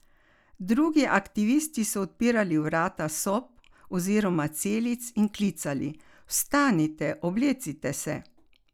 Drugi aktivisti so odpirali vrata sob oziroma celic in klicali: "Vstanite, oblecite se.